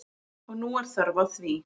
Og nú er þörf á því.